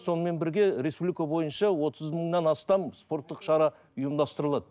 сонымен бірге республика бойынша отыз мыңнан астам спорттық шара ұйымдастырылады